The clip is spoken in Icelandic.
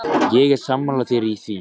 Ég er sammála þér í því.